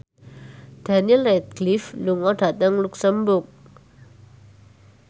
Daniel Radcliffe lunga dhateng luxemburg